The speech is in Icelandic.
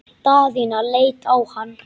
Daðína leit á hann.